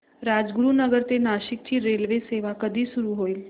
राजगुरूनगर ते नाशिक ची रेल्वेसेवा कधी सुरू होईल